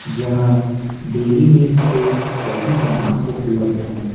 जहाँ daily needs के सभी सामान उपलब्ध हैं।